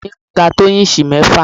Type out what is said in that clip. ibùsùn mi ga tó íǹsì mẹ́fà